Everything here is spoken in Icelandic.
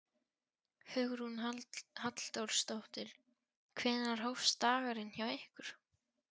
Hugrún Halldórsdóttir: Hvenær hófst dagurinn hjá ykkur?